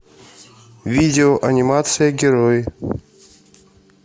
видео анимация герои